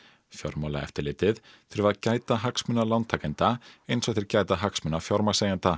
fjármálaeftirlitið þurfi að gæta hagsmuna lántakenda eins og þeir gæta hagsmuna fjármagnseigenda